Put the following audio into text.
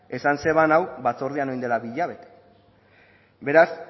esan zuen hau batzordean orain dela bi hilabete beraz